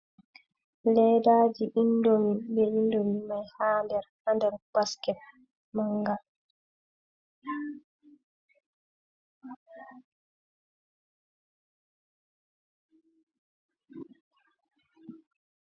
Leddaji indomi be indomi mai ha nder, ha nder basket manga.